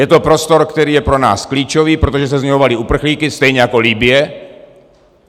Je to prostor, který je pro nás klíčový, protože se z něj valí uprchlíci, stejně jako Libye.